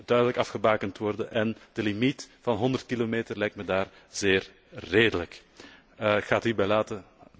Dat moet duidelijk afgebakend worden en de limiet van 100 km lijkt mij daar zeer redelijk. Ik ga het hierbij laten.